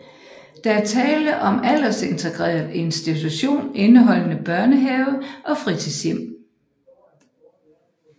Der er tale om en aldersintegreret institution indeholdende børnehave og fritidshjem